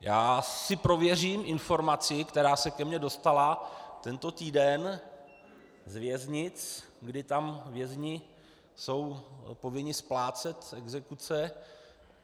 Já si prověřím informaci, která se ke mně dostala tento týden z věznic, kdy tam vězni jsou povinni splácet exekuce.